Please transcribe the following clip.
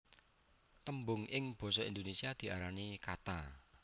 Tembung ing basa Indonésia diarani kata